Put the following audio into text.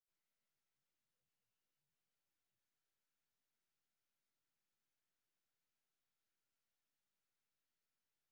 Waxbarashadu waxay yaraynaysaa akhris-la'aanta waxayna wanaajisaa xidhiidhka .